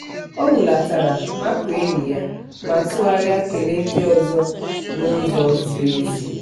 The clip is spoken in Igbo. ọ hulatara makụọ enyi ya ma tụgharịa kelee ndị ọzọ n'ụzọ ziri ezi.